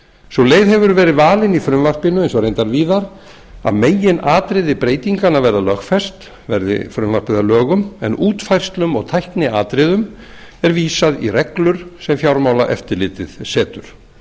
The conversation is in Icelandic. sú leið hefur verið valin í frumvarpinu eins og reyndar víðar að meginatriði breytinganna verða lögfest verði frumvarpið að lögum en útfærslum og tækniatriðum er vísað í reglur sem fjármálaeftirlitið setur